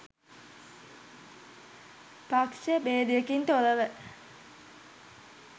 පක්ෂ බේදයකින් තොරව